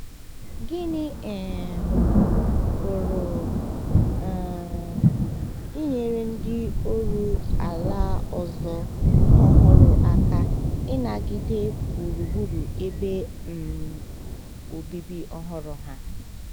Gịnị um pụrụ um inyere ndị oru ala ọzọ ọhụrụ aka ịnagide gburugburu ebe um obibi ọhụrụ ha?